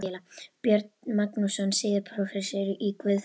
Björn Magnússon, síðar prófessor í guðfræði.